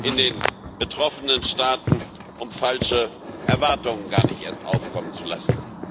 in den betroffenen Staaten, um falsche Erwartungen gar nicht erst aufkommen zu lassen.